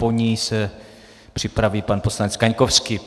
Po ní se připraví pan poslanec Kaňkovský.